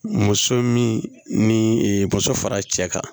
Muso min ni muso fara cɛ kan